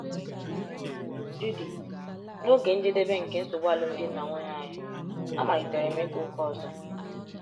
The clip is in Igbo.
Judith: N’oge njedebe nke nsogbu alụmdi na nwunye anyị, amalitere m ịga ụka ọzọ.